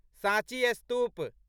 साँची स्तूप